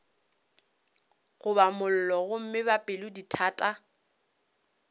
goba mollo gomme ba pelodithata